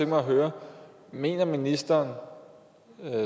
mig at høre mener ministeren